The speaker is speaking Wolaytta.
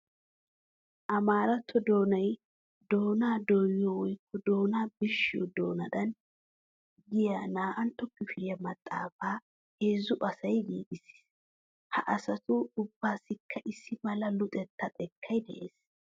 Amaaratto doonay doona dooyiyo woykko doona birshshiyo doonadan giya naa"antta kifiliya maxaafaa heezzu asay giigissiis. Ha asatu ubbaassikka issi mala luxettaa xekkay de'es.